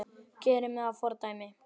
Gera mig að fordæmi?